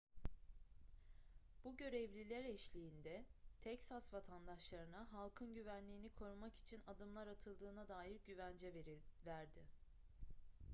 bu görevliler eşliğinde teksas vatandaşlarına halkın güvenliğini korumak için adımlar atıldığına dair güvence verdi